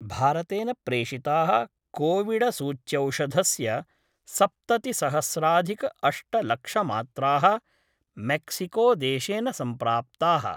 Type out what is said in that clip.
भारतेन प्रेषिता: कोविडसूच्यौषधस्य सप्ततिसहस्राधिकअष्टलक्षमात्रा: मैक्सिकोदेशेन सम्प्राप्ताः।